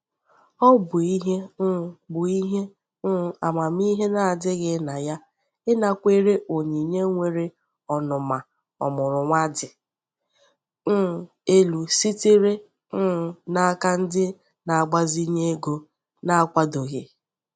Ọ bụ ihe um bụ ihe um amamihe na-adịghị na ya ịnakwere onyinye nwere ọnụma ọmụrụ nwa dị um elu sitere um n'aka ndị na-agbazinye ego na-akwadoghị.